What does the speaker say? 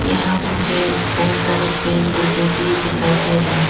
यहां मुझे बहुत सारे पेड़ पौधे भी दिखाई दे रहे हैं।